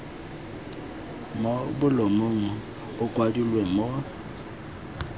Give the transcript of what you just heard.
mo bolumong a kwadilwe mo